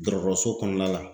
Dɔgɔtɔrɔso kɔnɔna la.